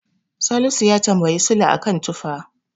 Salisu ya tamabyi Sule a kan tufa.